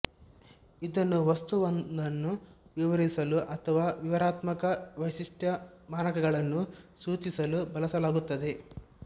ಇದನ್ನು ವಸ್ತುವೊಂದನ್ನು ವಿವರಿಸಲು ಅಥವಾ ವಿವರಣಾತ್ಮಕ ವೈಶಿಷ್ಟ್ಯಮಾನಕಗಳನ್ನು ಸೂಚಿಸಲು ಬಳಸಲಾಗುತ್ತದೆ